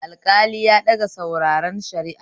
Alƙali ya ɗaga sauraren shari'a